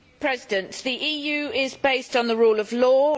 Mr President, the EU is based on the rule of law